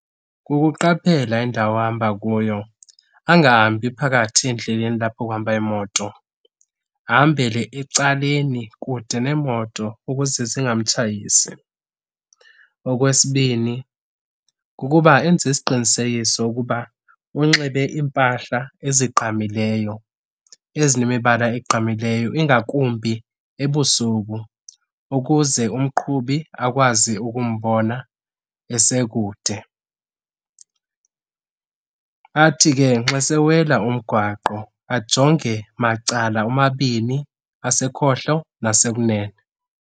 Kukuqaphela indawo ahamba kuyo, angahambi phakathi endleleni lapho kuhamba iimoto, ahambele ecaleni kude neemoto ukuze zingamtshayisi. Okwesibini kukuba enze isiqinisekiso ukuba unxibe iimpahla ezigqamileyo, ezinemibala ezinemibala egqamileyo, ingakumbi ebusuku ukuze umqhubi akwazi ukumbona esekude. Athi ke nxa sewela umgwaqo ajonge macala omabini asekhohlo nasekunene.